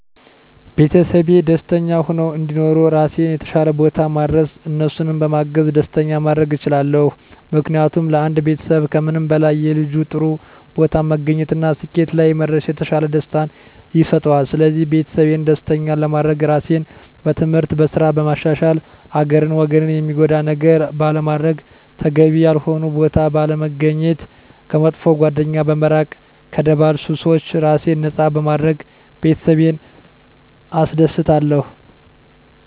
ቤተሰቤ ደስተኛ ሁነው እንዲኖሩ ራሴን የተሻለ ቦታ ማድረስ እነሱንም በማገዝ ደስተኛ ማድረግ እችላለሁ። ምክንያቱም ለአንድ ቤተሰብ ከምንም በላይ የልጁ ጥሩ ቦታ መገኘት እና ስኬት ላይ መድረስ የተሻለ ደስታን ይሰጠዋል ስለዚህ ቤተሰቤን ደስተኛ ለማድረግ ራሴን በትምህርት፣ በስራ በማሻሻል ሀገርን ወገንን ሚጎዳ ነገር ባለማድረግ፣ ተገቢ ያልሆነ ቦታ ባለመገኘት፣ ከመጥፎ ጓደኛ በመራቅ ከደባል ሱሶች ራሴን ነፃ በማድረግ ቤተሰቤን አስደስታለሁ።